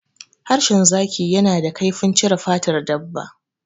Harshen zaki yana da kaifin cire fatar dabba.